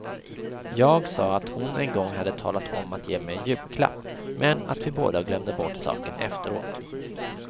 Jag sa att hon en gång hade talat om att ge mig en julklapp, men att vi båda glömde bort saken efteråt.